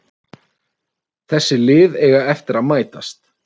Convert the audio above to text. Þessi lið eiga eftir að mætast